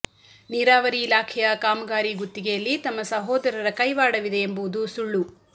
ನೀರಾವರಿ ಇಲಾಖೆಯ ಕಾಮಗಾರಿ ಗುತ್ತಿಗೆಯಲ್ಲಿ ತಮ್ಮ ಸಹೋದರರ ಕೈವಾಡವಿದೆ ಎಂಬುವುದು ಸುಳ್ಳು